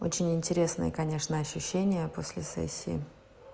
очень интересные конечно ощущения после сессии